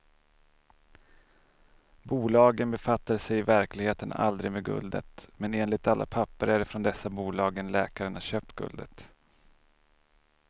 Bolagen befattade sig i verkligheten aldrig med guldet, men enligt alla papper är det från dessa bolag läkaren har köpt guldet.